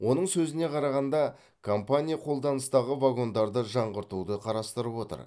оның сөзіне қарағанда компания қолданыстағы вагондарды жаңғыртуды қарастырып отыр